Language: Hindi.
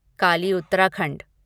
काली उत्तराखंड